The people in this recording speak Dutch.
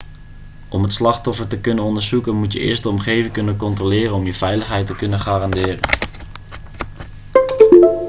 om het slachtoffer te kunnen onderzoeken moet je eerst de omgeving controleren om je eigen veiligheid te kunnen garanderen